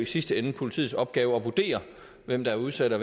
sidste ende politiets opgave at vurdere hvem der er udsat og